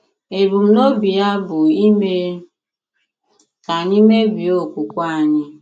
Ebumnobi ya bụ ime ka anyị mebie okwukwe anyị.